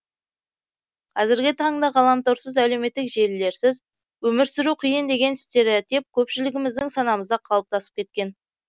қазіргі таңда ғаламторсыз әлеуметтік желілерсіз өмір сүру қиын деген стереотип көпшілігіміздің санамызда қалыптасып кеткен